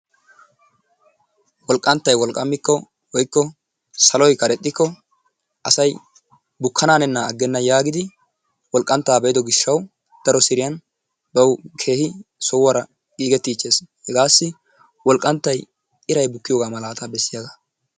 Wolqqanttay wolqqammikko saloy karexxikko asay bukkananennan agenna yaagidi asay wolqqanttaa be'iddo gishshawu bawu keehi sohuwaara gigettiichcheesi. Hegaassi wolqqanttay iraay bukkiyoogaa malataa bessiyagaa.